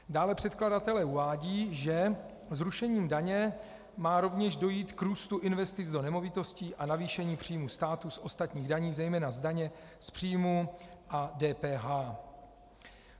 Dále předkladatelé uvádějí, že zrušením daně má rovněž dojít k růstu investic do nemovitostí a navýšení příjmů státu z ostatních daní, zejména z daně z příjmů a DPH.